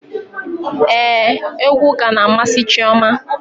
Éè, egwu ụka na amasị Chioma